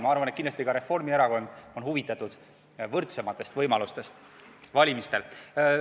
Ma arvan, et kindlasti on ka Reformierakond huvitatud sellest, et valimistel oleksid tagatud võrdsemad võimalused.